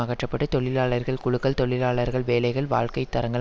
அகற்ற பட்டு தொழிலாளர்கள் குழுக்கள் தொழிலாளர்கள் வேலைகள் வாழ்க்கை தரங்கள்